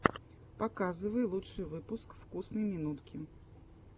показывай лучший выпуск вкусной минутки